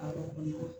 Awɔ